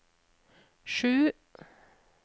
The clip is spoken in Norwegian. sju